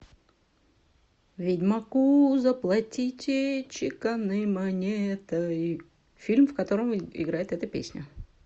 ведьмаку заплатите чеканной монетой фильм в котором играет эта песня